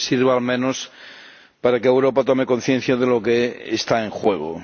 Que sirva al menos para que Europa tome conciencia de lo que está en juego.